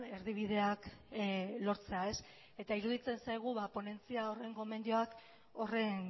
erdibideak lortzea eta iruditzen zaigu ponentzia horren gomendioak horren